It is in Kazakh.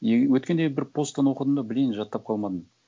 и өткенде бір посттан оқыдым да блин жаттап қалмадым